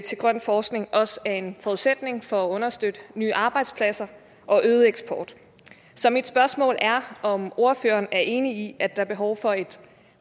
til grøn forskning også er en forudsætning for at understøtte nye arbejdspladser og øget eksport så mit spørgsmål er om ordføreren er enig i at der er behov for et